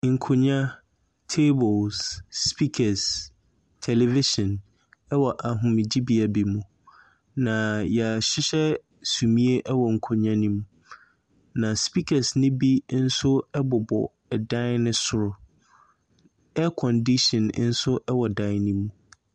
Nkonnwa, tables, speakers, television wɔ ahomegyebea bi mu. Na yɛahyehyɛ sumiiɛ wɔ nkonnwa no mu. Na speakers no bi bobɔ dan no so. Aircondition nso wɔ dan no mu.